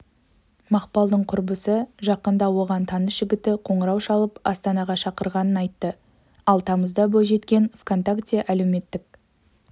мақпалдың құрбысы жақында оған таныс жігіті қоңырау шалып астанаға шақырғанын айтты ал тамызда бойжеткен онтакте әлеуметтік